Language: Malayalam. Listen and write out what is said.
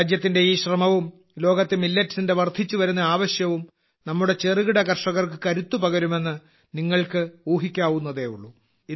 രാജ്യത്തിന്റെ ഈ ശ്രമവും ലോകത്ത് Millettsന്റെ വർദ്ധിച്ചുവരുന്ന ആവശ്യവും നമ്മുടെ ചെറുകിട കർഷകർക്ക് കരുത്ത് പകരുമെന്ന് നിങ്ങൾക്ക് ഊഹിക്കാവുന്നതേയുള്ളൂ